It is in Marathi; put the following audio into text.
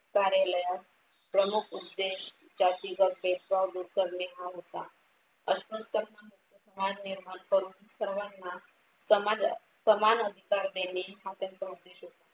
कार्यालयात प्रमुख उद्देश जाती व भेदभाव दूर करणे हा होता. अस्पृश्य भान निर्माण करून सर्वांना समाजात समान अधिकार देणे हा त्यांचा उद्देश होता.